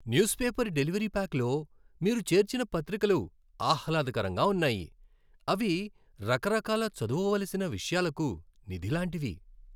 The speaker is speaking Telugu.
న్యూస్ పేపర్ డెలివరీ ప్యాక్లో మీరు చేర్చిన పత్రికలు ఆహ్లాదకరంగా ఉన్నాయి. అవి రకరకాల చదువవలసిన విషయాలకు నిధి లాంటివి.